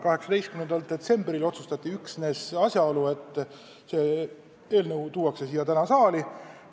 18. detsembril otsustati üksnes see, et eelnõu tuuakse siia saali tänaseks.